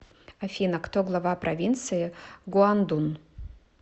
афина кто глава провинции гуандун